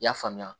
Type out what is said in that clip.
I y'a faamuya